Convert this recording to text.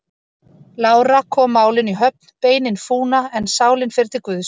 Lára kom málinu í höfn: Beinin fúna, en sálin fer til Guðs.